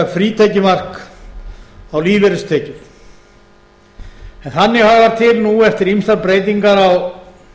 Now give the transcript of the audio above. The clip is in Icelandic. frítekjumark á lífeyristekjur en þannig hagar til nú eftir ýmsar breytingar á